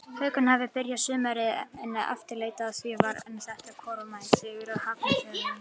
Haukarnir hafa byrjað sumarið afleitlega og því var þetta kærkominn sigur hjá Hafnarfjarðarliðinu.